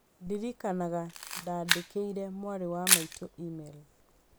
Ndirikanaga ndandĩkĩire mwarĩ wa maitũ e-mail.